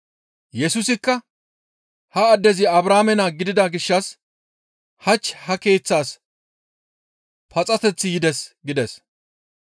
Yesusikka, «Ha addezi Abrahaame naa gidida gishshas hach ha keeththaas paxateththi yides» gides.